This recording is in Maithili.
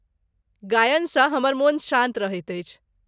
गायनसँ हमर मोन शाँत रहैत अछि।